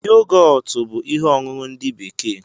Yogọtu bú ihe ọṅụṅụ ndị bekee